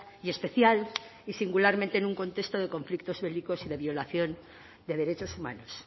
y especial y singularmente en un contexto de conflictos bélicos y de violación de derechos humanos